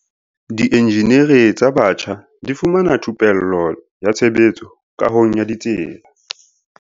Dienjeniri tsa batjha di fumana thupello ya tshebetso kahong ya ditsela